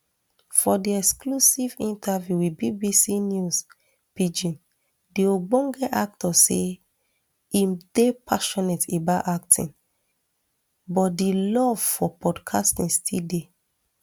for di exclusive interview wit bbc news pidgin di ogbonge actor say im dey passionate about acting but di love for podcasting still dey